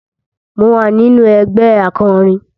Mo wà nínú ẹgbẹ́ akọrin